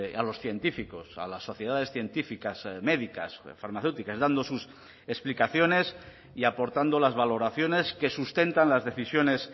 a los científicos a las sociedades científicas médicas farmacéuticas dando sus explicaciones y aportando las valoraciones que sustentan las decisiones